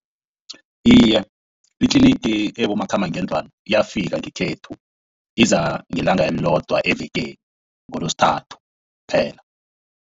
Iye, itlinigi ebomakhambangendlwana iyafika ngekhethu, iza ngelanga elilodwa evekeni ngeLesithathu phela.